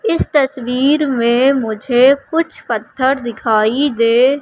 इस तस्वीर में मुझे कुछ पत्थर दिखाई दे--